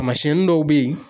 Taamasiɲɛnin dɔw be ye